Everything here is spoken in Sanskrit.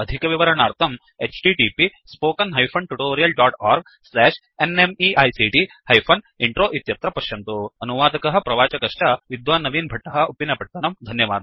अधिकविवरणार्थं httpspoken tutorialorgNMEICT Intro इत्यत्र पश्यन्तु अनुवादकः प्रवाचकश्च विद्वान् नवीन् भट्टः उप्पिनपत्तनं